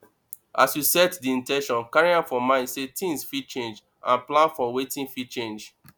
as you set di in ten tion carry am for mind sey things fit change and plan for wetin fit change